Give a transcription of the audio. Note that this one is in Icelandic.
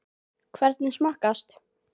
Hvernig smakkast?